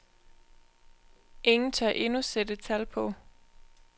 Ingen tør endnu sætte tal på.